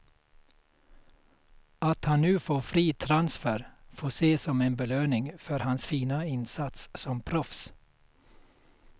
Att han nu får fri transfer får ses som en belöning för hans fina insats som proffs.